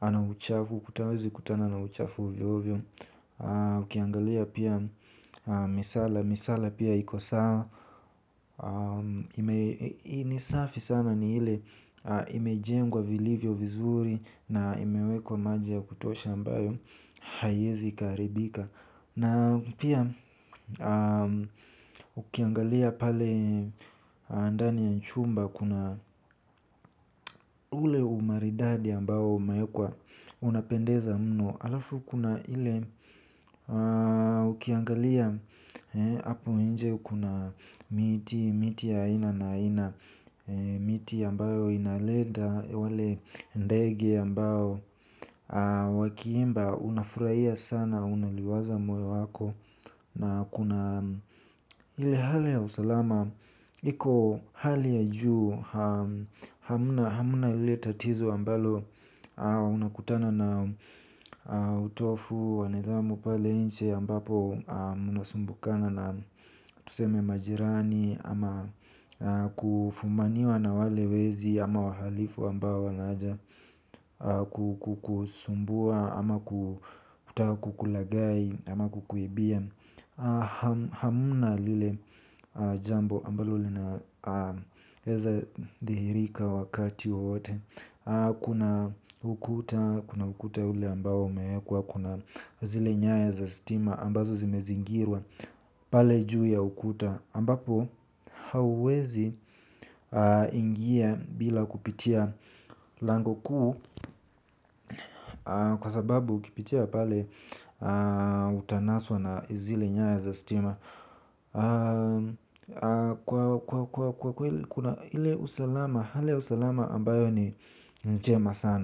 ana uchafu. Mtu hawezi kutana na uchafu ovyo ovyo. Ukiangalia pia misala, misala pia iko sawa ni safi sana ni ile imejengwa vilivyo vizuri na imewekwa maji ya kutosha ambayo haiezi ikaharibika. Na pia ukiangalia pale ndani ya chumba kuna ule umaridadi ambao umeekwa unapendeza mno. Halafu kuna ile ukiangalia apo nje kuna miti ya aina na aina. Miti ambayo inaleta wale ndege ambao wakiimba unafurahia sana unaliwaza moyo wako. Na kuna ile hali ya usalama. Iko hali ya juu hamna lile tatizo ambalo unakutana na utovu wa nidhamu pale nje ambapo mnasumbukana na tuseme majirani. Ama kufumaniwa na wale wezi ama wahalifu ambao wanaja kukusumbua ama kutaka kukulagai ama kukuibia. Hamna lile jambo ambalo linaeza dihirika wakati wote. Kuna ukuta ule ambao umeekwa kuna zile nyaya za stima ambazo zimezingirwa pale juu ya ukuta. Ambapo hauezi ingia bila kupitia lango kuu kwa sababu ukipitia pale utanaswa na zile nyaya za stima kwa kweli kuna ile usalama, hali ya usalama ambayo ni njema sana.